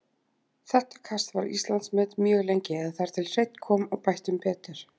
Þetta kast var Íslandsmet mjög lengi, eða þar til Hreinn kom og bætti um betur.